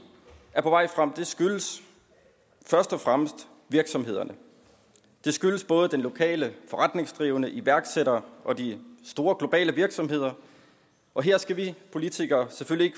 er på vej frem skyldes først og fremmest virksomhederne det skyldes både de lokale forretningsdrivende iværksættere og de store globale virksomheder og her skal vi politikere selvfølgelig